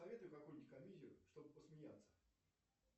посоветуй какую нибудь комедию чтобы посмеяться